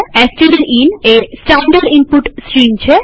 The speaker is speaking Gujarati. એસટીડીઇન એ સ્ટાનડર્ડ ઈનપુટ સ્ટ્રીમ છે